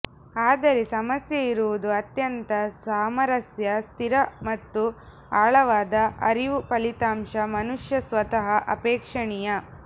ಆದರೆ ಸಮಸ್ಯೆಯಿರುವುದು ಅತ್ಯಂತ ಸಾಮರಸ್ಯ ಸ್ಥಿರ ಮತ್ತು ಆಳವಾದ ಅರಿವು ಫಲಿತಾಂಶ ಮನುಷ್ಯ ಸ್ವತಃ ಅಪೇಕ್ಷಣೀಯ